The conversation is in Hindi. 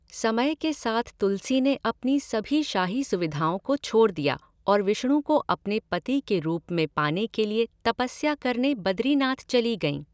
समय के साथ तुलसी ने अपनी सभी शाही सुविधाओं को छोड़ दिया और विष्णु को अपने पति के रूप में पाने के लिए तपस्या करने बद्रीनाथ चली गईं।